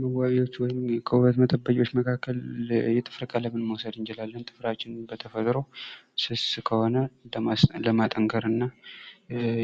መዋቢያዎች ወይም ከዉበት መጠበቂያዎች መካከል የጥፍር ቀለምን መዉሰድ እንችላለን። ጥፍራችን በተፈጥሮ ስስ ከሆነ ለማጠንከር እና